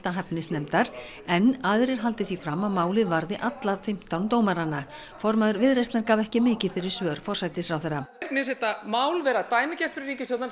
hæfnisnefndar en aðrir haldi því fram að málið varði alla fimmtán dómarana formaður Viðreisnar gaf ekki mikið fyrir svör forsætisráðherra mér finnst þetta mál vera dæmigert fyrir ríkisstjórnina